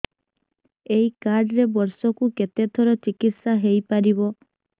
ଏଇ କାର୍ଡ ରେ ବର୍ଷକୁ କେତେ ଥର ଚିକିତ୍ସା ହେଇପାରିବ